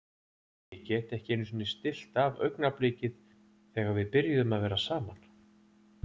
Ég get ekki einusinni stillt af augnablikið þegar við byrjuðum að vera saman.